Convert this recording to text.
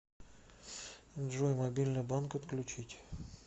джой мобильный банк отключить